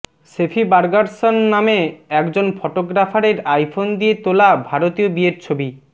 সেফি Bergerson নামে একজন ফটোগ্রাফারের আইফোন দিয়ে তোলা ভারতীয় বিয়ের ছবি